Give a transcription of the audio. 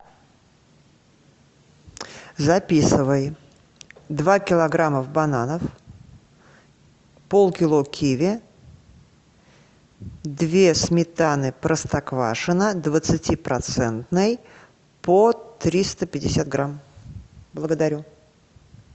записывай два килограммов бананов полкило киви две сметаны простоквашино двадцатипроцентной по триста пятьдесят грамм благодарю